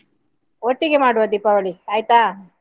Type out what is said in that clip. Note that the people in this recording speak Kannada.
ಒಟ್ಟಿಗೆ ಮಾಡುವ ದೀಪಾವಳಿ ಆಯ್ತಾ?